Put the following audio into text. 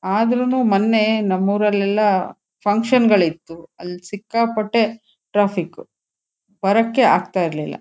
ಅದರೂನು ಮೊನ್ನೆ ನಮ್ ಊರಲೆಲ್ಲಾ ಫಂಕ್ಷನ್ ಗಳು ಇತ್ತು ಆಲ್ ಸಿಕ್ಕಾಪಟ್ಟೆ ಟ್ರಾಫಿಕ್ ಬರೋಕ್ಕೆ ಆಗ್ತಾ ಇರ್ಲಿಲ್ಲ.